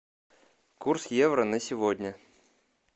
курс евро на сегодня